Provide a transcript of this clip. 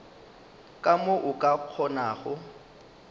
ka mo o ka kgonago